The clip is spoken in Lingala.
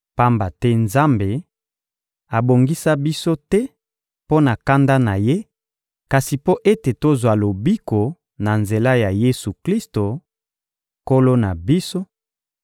Pamba te Nzambe abongisa biso te mpo na kanda na Ye, kasi mpo ete tozwa lobiko na nzela ya Yesu-Klisto, Nkolo na biso,